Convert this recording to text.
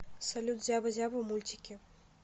салют зяба зяба мультики